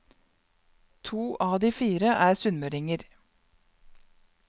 To av de fire er sunnmøringer.